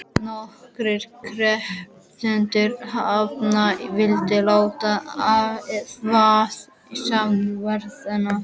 Nokkrir krepptu hnefana og vildu láta vaða í smetti varðanna.